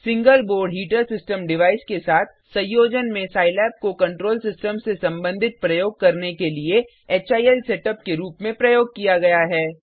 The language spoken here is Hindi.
single board heater system device के साथ संयोजन में सिलाब को कंट्रोल सिस्टम से संबंधित प्रयोग करने के लिए हिल सेटअप के रूप में प्रयोग किया गया है